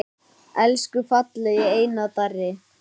Elsku fallegi Einar Darri.